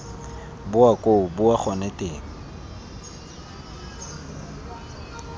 boa koo boa gone teng